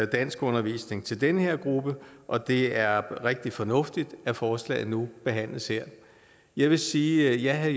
danskundervisning til den her gruppe og det er rigtig fornuftigt at forslaget nu behandles her jeg vil sige at